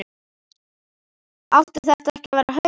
Átti þetta ekki að vera á haus?